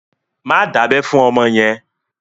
Má dábẹ́ fún ọmọ yẹn!